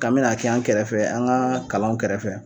Kan mina k'an kɛrɛfɛ, an ka kalanw kɛrɛfɛ